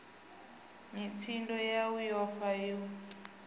mitsindo yau yo fa u